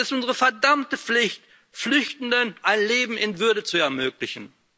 Es ist unsere verdammte Pflicht, Flüchtenden ein Leben in Würde zu ermöglichen!